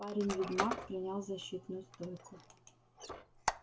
парень-ведьмак принял защитную стойку